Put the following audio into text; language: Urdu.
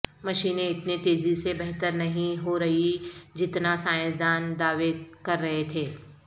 مشینیں اتنی تیزی سے بہتر نہیں ہو رہیں جتنا سائنسدان دعوے کر رہے تھے